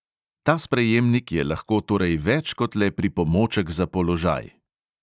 Ta sprejemnik je lahko torej več kot le pripomoček za položaj.